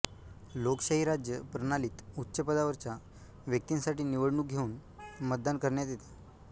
लोकशाही राज्य प्रणालीत उच्च पदावरच्या व्यक्तिंसाठी निवडणूक घेऊन मतदान करण्यात येते